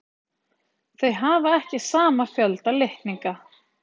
Þau hafa ekki sama fjölda litninga.